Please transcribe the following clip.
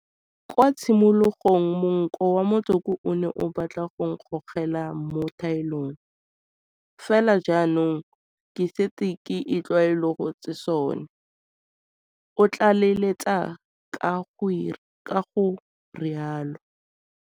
Kwa tshimologong monko wa motsoko o ne o batla go nkgogela mo thaelong, fela jaanong ke setse ke itlwaolotse seno, o tlaleletsa ka go rialo.